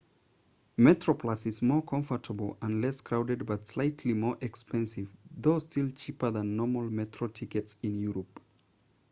metroplus is more comfortable and less crowded but slightly more expensive though still cheaper than normal metro tickets in europe